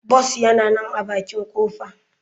Bus yana nan a bakin kofa.